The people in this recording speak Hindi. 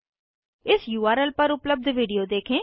इस उर्ल पर उपलब्ध विडिओ देखें